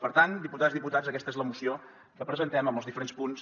per tant diputades diputats aquesta és la moció que presentem amb els diferents punts